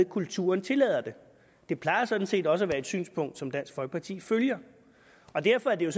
kulturen tillader det det plejer sådan set også at være et synspunkt som dansk folkeparti følger og derfor er det